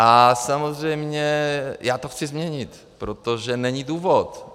A samozřejmě já to chci změnit, protože není důvod.